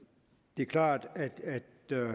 det er klart at